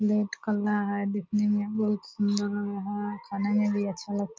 plate काला है देखने में बहुत सुन्दर लग रहा है खाने में भी अच्छा लगता --